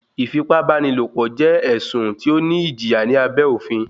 ìfìpábánilò jẹ ẹ̀sùn tí ó ní ìjìyà ní abẹ́ òfin.